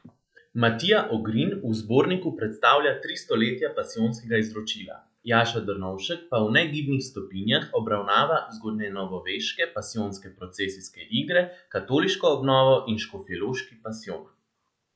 Matija Ogrin v zborniku predstavlja Tri stoletja pasijonskega izročila, Jaša Drnovšek pa V negibnih stopinjah obravnava zgodnjenovoveške pasijonske procesijske igre, katoliško obnovo in Škofjeloški pasijon.